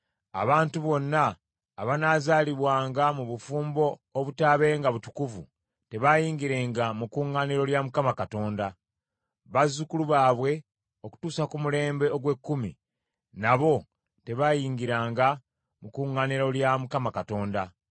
“Abantu bonna abanaazaalibwanga mu bufumbo obutaabenga butukuvu tebaayingirenga mu kuŋŋaaniro lya Mukama Katonda. Bazzukulu baabwe okutuusa ku mulembe ogw’ekkumi, nabo tebayingiranga mu kuŋŋaaniro lya Mukama Katonda.